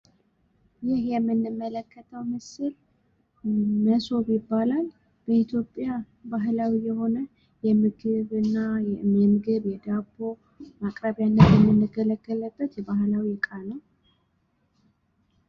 ይህ የምንመለከተው ምስል መሶብ ይባላል። በኢትዮጵያ ባህላዊ የሆነ የምግብ የዳቦ ማቅረቢያነት የምንገለገልበት የባህላዊ እቃ ነው።